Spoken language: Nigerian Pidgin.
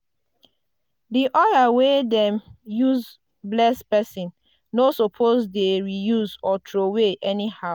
di oil wey dem use bless person no suppose dey reuse or throway anyhow.